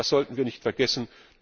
Das sollten wir nicht vergessen.